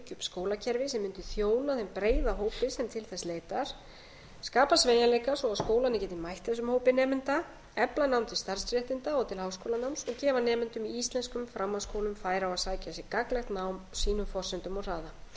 skólakerfi sem mundi þjóna þeim breiða hópi sem til þess leitar skapa sveigjanleika svo að skólarnir geti mætt þessum hópi nemenda efla nám til starfsréttinda og til háskólanáms og gefa nemendum í íslenskum framhaldsskólum færi á að sækja sér gagnlegt nám á sínum forsendum og hraða